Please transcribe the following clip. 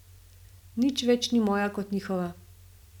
Nič več ni moja kot njihova.